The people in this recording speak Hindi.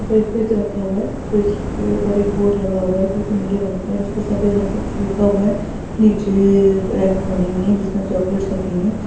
पर एक फ्रिज रखा हुआ है. फ्रिज के ऊपर एक बोर्ड जो की नीले रंग का है जिस पे सफेद रंग से कुछ लिखा हुआ है नीचे रैकेर बनी हुई है जिसमें चॉकलेट्स रखी है।